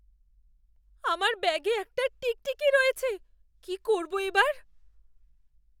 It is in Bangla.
আমার ব্যাগে একটা টিকটিকি রয়েছে। কি করবো এবার?